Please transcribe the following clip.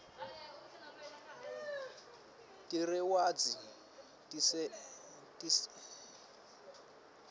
tirewadzi tisenta sihlakaniphe